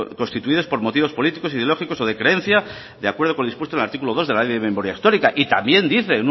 constituidos por motivos políticos ideológicos o de creencia de acuerdo con lo dispuesto en el artículo dos de la ley de memoria histórica y también dice